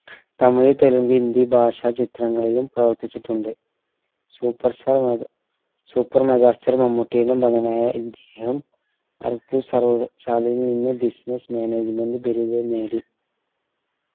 തമിഴ് തെലുങ്ക് ഹിന്ദി ഭാഷ ചിത്രങ്ങളിലും പ്രവർത്തിച്ചിട്ടുണ്ട് superstar mega super megastar മമ്മൂട്ടിയുടെ മകനായ ഇദ്ദേഹം സർവകലാശാലയിൽ നിന്ന് business management ബിരുദം നേടി